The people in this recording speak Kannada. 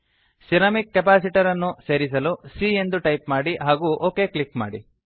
ಸಿರಮಿಕ್ ಕೆಪಾಸಿಟರ್ ಅನ್ನು ಸೇರಿಸಲು c ಎಂದು ಟೈಪ್ ಮಾಡಿ ಹಾಗೂ ಒಕ್ ಕ್ಲಿಕ್ ಮಾಡಿ